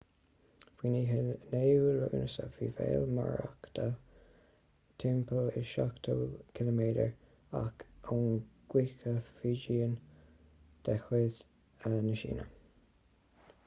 faoin oíche 9ú lúnasa bhí béal morakot timpeall is seachtó ciliméadar amach ón gcúige fujian de chuid na síne